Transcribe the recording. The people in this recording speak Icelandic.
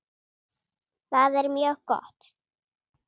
Það er mjög gott.